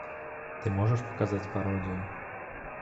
ты можешь показать пародию